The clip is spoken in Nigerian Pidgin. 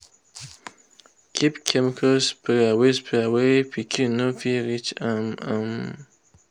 keep chemical sprayer where sprayer where pikin no fit reach um am.